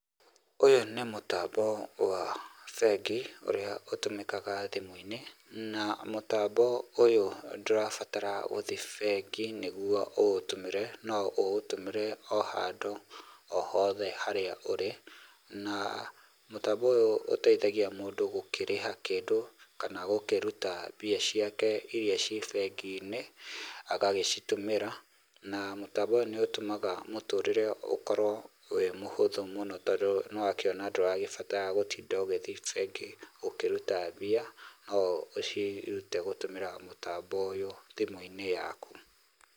Ũyũ nĩ mũtambo wa bengi ũrĩa ũtũmĩkaga thimũ-inĩ na mũtambo ũyũ ndũrabatara gũthĩi bengi nĩguo ũũtũmĩre. No ũũtũmĩre o handũ o hothe harĩa ũrĩ, na mũtambo ũyũ ũteithagia mũndũ gũkĩrĩha kĩndũ, kana gũkĩruta mbia ciake iria ciĩ bengi-inĩ, agagĩcitũmĩra na mũtambo ũyũ nĩ ũtũmaga mũtũrĩre ũkorwo wĩ mũhũthũ mũno tondũ nĩ wakiona ndũrabatara gũtinda ũgĩthi bengi ũkĩruta mbia no ũcirute gũtũmira mũtambo ũyũ thimũ-inĩ yaku.